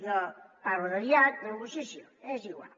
jo parlo de diàleg i negociació és igual